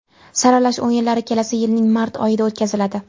Saralash o‘yinlari kelasi yilning mart oyida o‘tkaziladi.